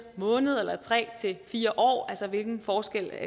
måneder eller tre fire år hvilken forskel